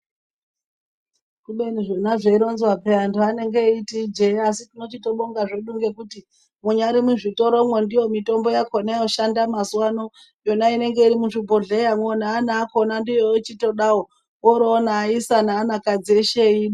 Kubeni zvona zvei ronzwa peya antu anenge eyiti ijee asi tinoti tobonga zvedu ngekuti munyari mu zvitoro mwo ndiyo mitombo yakona yoshanda mazuva ano yona inenge iri muzvi bhodhlera ne ana akona ndiwo echitodawo ori ona ayisa ne ana kadzi eshe .